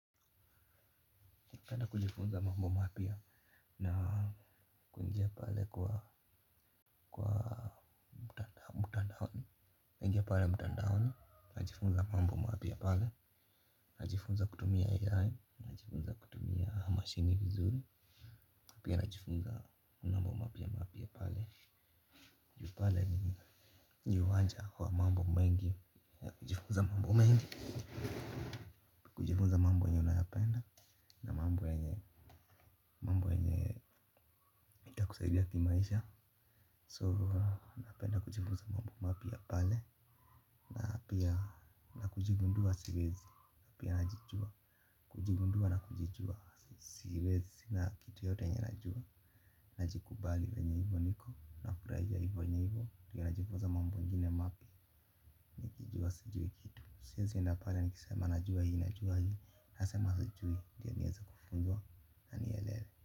Napenda kujifunza mambo mapya na kuingia pale kwa mtandaoni. Najifunza mambo mapya pale. Najifunza kutumia AI. Najifunza kutumia mashini vizuri. Pia najifunza mambo mapya mapya pale. Pale ni uwanja wa mambo mengi. Najifunza mambo mengi. Kujifunza mambo yenye unayapenda. Mambo yenye ya kusaidia kimaisha So napenda kujifunza mambo mapya pale. Na pia na kujigundua siwezi. Na pia najijua. Kujigundua na kujijua siwezi. Sina kitu yote yenye najua. Najikubali venye hivo niko. Nafurahia hivo hivo. Nikiwa najifunza mambo ingine mapya. Nikijua sijui kitu. Siezienda pale nikisema najua hii. Najua hii. Nasema sijui. Ndio nieze kufunzwa. Na nielewe.